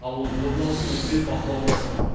ал оның орындалысын үкімет бақылауға алсын